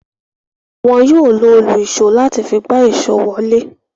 Wọn yóò lo òlu-ìsó láti fi gbá èso wọlé.